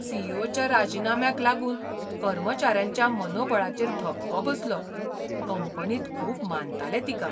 C. E. O. च्या राजिनाम्याक लागून कर्मचाऱ्यांच्या मनोबळाचेर धपको बसलो. कंपनींत खूब मानताले तिका.